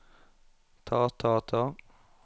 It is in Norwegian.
ta ta ta